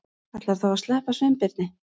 Ætlarðu þá að sleppa Sveinbirni?